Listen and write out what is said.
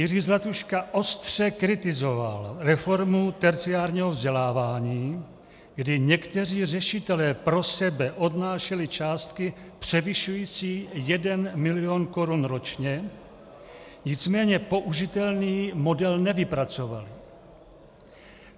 Jiří Zlatuška ostře kritizoval reformu terciárního vzdělávání, kdy někteří řešitelé pro sebe odnášeli částky převyšující 1 mil. korun ročně, nicméně použitelný model nevypracovali.